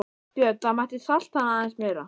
Björn: Það mætti salta hann aðeins meira?